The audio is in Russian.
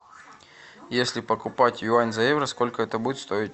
если покупать юань за евро сколько это будет стоить